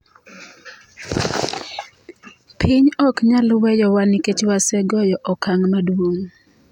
"Piny ok nyal weyowa nikech wasegoyo okang' maduong'.